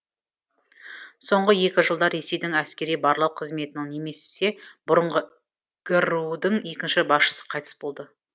соңғы екі жылда ресейдің әскери барлау қызметінің немесе бұрынғы гру дің екінші басшысы қайтыс болды